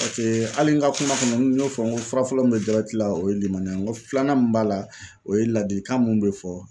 pase ali n ka kuma kɔnɔ n y'o fɔ n ko furafɔlɔ min be jabɛti la o ye limaniya ye n ko filanan min b'a la o ye ladilikan mun be fɔ